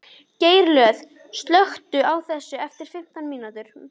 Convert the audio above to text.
Geirlöð, slökktu á þessu eftir fimmtán mínútur.